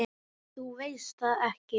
Nei, þú veist það ekki.